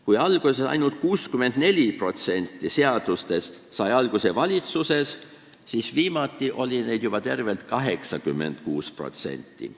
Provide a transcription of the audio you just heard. Kui esialgu sai ainult 64% seadustest alguse valitsuses, siis viimati oli selliseid juba tervelt 86%.